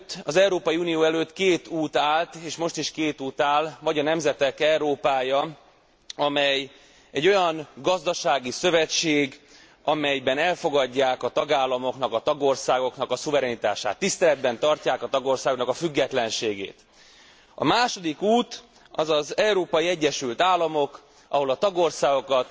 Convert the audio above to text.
Az Európai Unió előtt két út állt, és most is két út áll vagy a nemzetek Európája, amely egy olyan gazdasági szövetség, amelyben elfogadják a tagállamoknak, a tagországoknak a szuverenitását, tiszteletben tartják a tagországoknak a függetlenségét. A második út, az az Európai Egyesült Államok, ahol a tagországokat